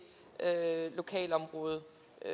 lokalområde